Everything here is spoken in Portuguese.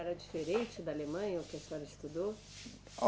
Era diferente da Alemanha, o que a senhora estudou?